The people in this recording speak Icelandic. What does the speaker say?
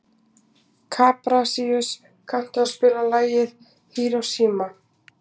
Kaprasíus, kanntu að spila lagið „Hiroshima“?